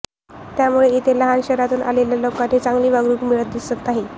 त्यामुळेच इथे लहान शहरांतून आलेल्या लोकांना चागली वागणूक मिळताना दिसत नाही